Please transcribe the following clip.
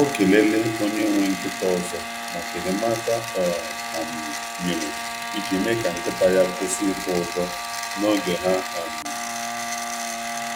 O kelele onye nwe nkịta ọzọ maka enyemaka o um nyere iji mee ka nkịta ya kwụsị itụ ụjọ n’oge ha um